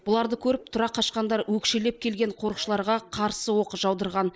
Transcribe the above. бұларды көріп тұра қашқандар өкшелеп келген қорықшыларға қарсы оқ жаудырған